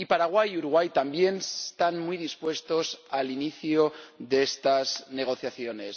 Y Paraguay y Uruguay también están muy dispuestos al inicio de estas negociaciones.